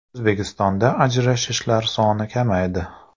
O‘zbekistonda ajrashishlar soni kamaydi.